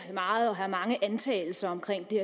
meget og have mange antagelser omkring det